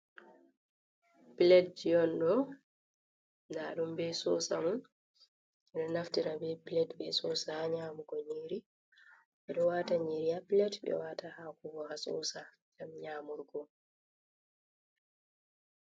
Pilat ji on ɗo, ndum be sosa mum, ɓeɗo naftira be pilat be sosa ha nyamugo nyeri, ɓeɗo waata nyeri ha pilat ɓewara ta ha kubo ha sosa, gam nyamurko.